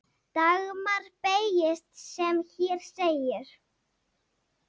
Dagmar beygist sem hér segir